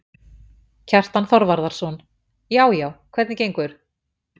Kjartan Þorvarðarson: Já já, hvernig gengur?